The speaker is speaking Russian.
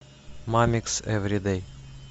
мамикс эври дэй